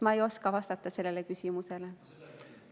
Ma ei oska sellele küsimusele vastata.